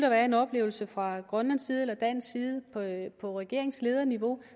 anden oplevelse fra grønlands side eller dansk side på regeringslederniveau